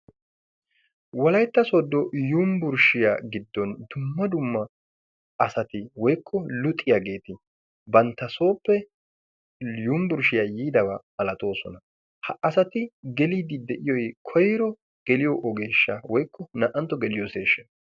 Wolaytta sodo yunvrshiyaa giddon dumma dumma asati woykko luxiyagetti bantta sooppe yunvrshiyaa yiidaba malatoosona. Ha asati gellidi de'iyoy koyro geliyo ogeesha woykko naa'antto geeliyosay?